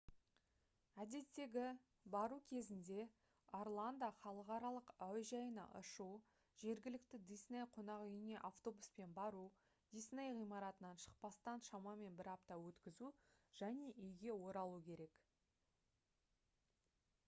«әдеттегі» бару кезінде орландо халықаралық әуежайына ұшу жергілікті дисней қонақүйіне автобуспен бару дисней ғимаратынан шықпастан шамамен бір апта өткізу және үйге оралу керек